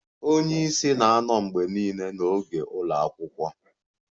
Onye isi na-anọ mgbe niile n'oge ụlọ akwụkwọ